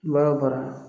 Baara o baara